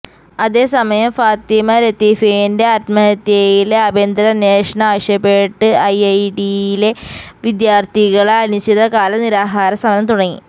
അതേസമയം ഫാത്തിമ ലത്തീഫിന്റെ ആത്മഹത്യയില് ആഭ്യന്തര അന്വേഷണം ആവശ്യപ്പെട്ട് ഐഐടിയിലെ വിദ്യാര്ത്ഥികള് അനിശ്ചിതകാല നിരാഹാര സമരം തുടങ്ങി